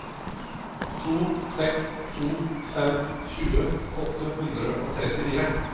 to seks to fem tjue åtte hundre og trettifire